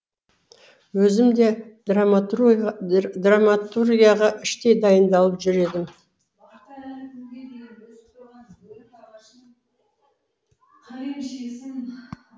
өзім де драматургияға іштей дайындалып жүр едім